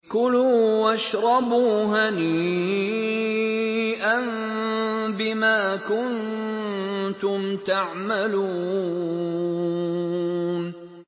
كُلُوا وَاشْرَبُوا هَنِيئًا بِمَا كُنتُمْ تَعْمَلُونَ